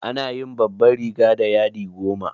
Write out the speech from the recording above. Ana yin babban riga da yadi goma.